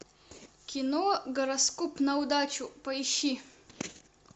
кино гороскоп на удачу поищи